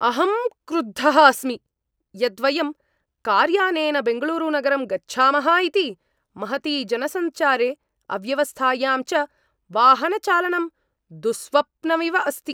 अहं क्रुद्धः अस्मि यत् वयं कार्यानेन बेङ्गळूरुनगरं गच्छामः इति, महति जनसञ्चारे, अव्यवस्थायां च वाहनचालनं दुःस्वप्नमिव अस्ति!